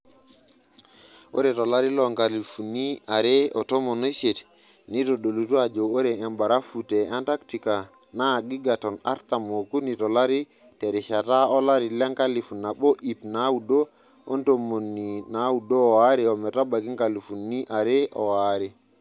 Ore tolari loonkalifuni are otomon oisiet neitodolua ajo ore embarafu te Antarctica naa gigatons artam ookuni tolari terishata olari lenkalifu nabo iip naaudo ontotmoni naaudo oare ometabaiki nkaifuni are oaree.